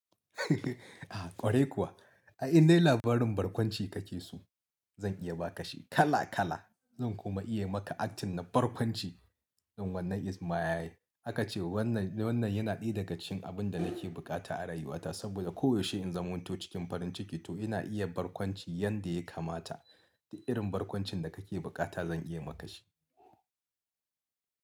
Ah ƙwarai kuwa, ai indai labarin barkwanci ka ke so? Zan iya ba ka shi kala kala. Zan kuma iya maka acting na barkwanci in wannan Is my aka ce wannan, wannan yana ɗaya daga cikin abin da nake buƙata a rayuwata saboda koyaushe in zan za manto cikin farin ciki to ina iya barkwanci yadda ya kamata. Du irin barkwancin da ka ke buƙata zan iya ma ka shi.